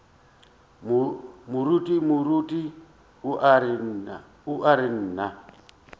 moruti moruti o ra nna